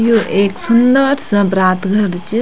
यु ऐक सुन्दर सा बरात घर च।